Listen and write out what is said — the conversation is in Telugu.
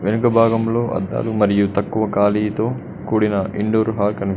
వెనక భాగంలో అద్దాలు మరియు తక్కువ ఖాళీతో కూడిన ఇండోర్ హాల్ కనిపిస్--